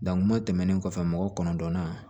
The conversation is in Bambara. kuma tɛmɛnen kɔfɛ mɔgɔ kɔnɔntɔnna